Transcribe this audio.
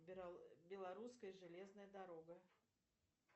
белорусская железная дорога